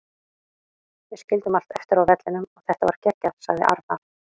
Við skildum allt eftir á vellinum og þetta var geggjað, sagði Arnar.